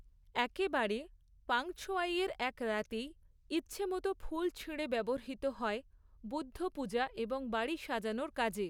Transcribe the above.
একেবারে পাঃংছোয়াইয়ের এক রাতেই, ইচ্ছেমতো ফুল ছিঁড়ে ব্যবহৃত হয় বুদ্ধপূজা এবং বাড়ি সাজানোর কাজে।